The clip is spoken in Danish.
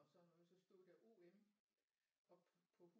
Og sådan noget så stod der O M oppe på